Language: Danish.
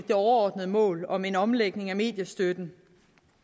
overordnede mål om en omlægning af mediestøtten